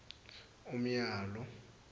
umyalo